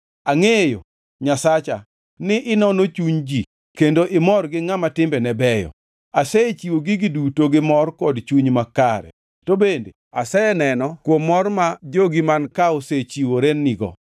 Angʼeyo, Nyasacha, ni inono chuny ji kendo imor gi ngʼama timbene beyo. Asechiwo gigi duto gimor kod chuny makare. To bende aseneno kuom mor ma jogi man ka osechiworenigo.